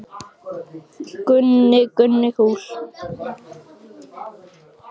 Gunnar Atli Gunnarsson: Eftirlit með fjölmiðlum, hvað áttu við nákvæmlega?